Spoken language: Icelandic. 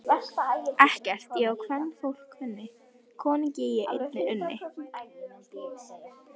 Ekkert ég á kvenfólk kunni, konunni ég einni unni.